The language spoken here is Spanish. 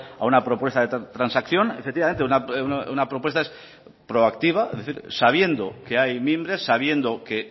a una propuesta de transacción efectivamente una propuesta es proactiva es decir sabiendo que hay mimbres sabiendo que